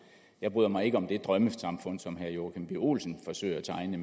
jeg bryder mig ikke om det drømmesamfund som herre joachim b olsen forsøger at tegne